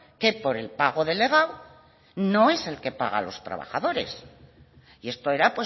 que por el pago delegado no es el que paga a los trabajadores y esto era